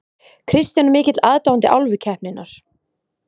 Kristján er mikill aðdáandi Álfukeppninnar.